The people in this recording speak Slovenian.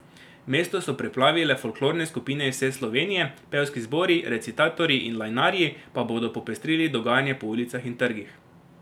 Mesto so preplavile folklorne skupine iz vse Slovenije, pevski zbori, recitatorji in lajnarji pa bodo popestrili dogajanje po ulicah in trgih.